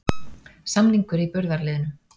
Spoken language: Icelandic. Samningur í burðarliðnum